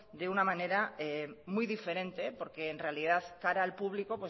de una manera muy diferente porque en realidad cara al público